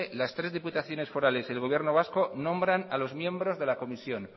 las tres diputaciones forales y el gobierno vasco nombran a los miembros de la comisión